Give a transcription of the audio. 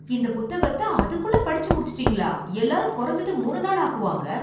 இந்த புத்தகத்தை அதுக்குள்ள படிச்சு முடிச்சுட்டீங்களா, எல்லாரும் குறைஞ்சது மூணு நாள் ஆக்குவாங்க.